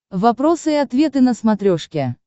вопросы и ответы на смотрешке